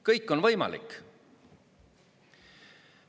Kõik on võimalik!